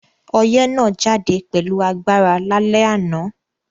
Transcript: Oyẹ́ náà jáde pẹ̀lu agbára lálẹ́ ànán